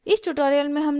इस tutorial में हमने सीखा